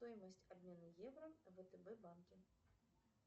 стоимость обмена евро в втб банке